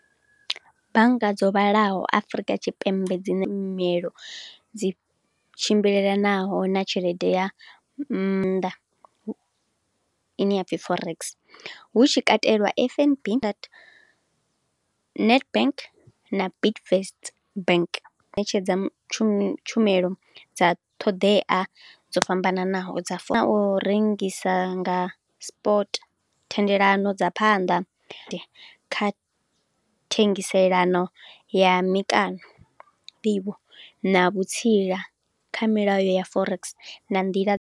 Bannga dzo vhalaho Afrika Tshipembe dzi na mielo dzi tshimbilelanaho na tshelede ya nnḓa ine ya pfi forex. Hu tshi katelwa F_N_B, Nedbank na Bidvest bank ṋetshedza tshumelo dza ṱhoḓea dzo fhambananaho dza fore, na u rengisa nga sport thendelano dza phanḓa, kha thengiselano ya mikano, nḓivho na vhutsila kha milayo ya forex na nḓila.